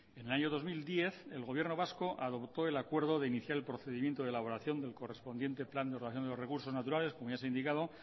en el año dos mil diez el gobierno vasco adoptó el acuerdo de iniciar el procedimiento de elaboración del correspondiente plan de ordenación de los recursos naturales como ya se ha indicado